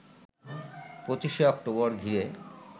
২৫ October ঘিরে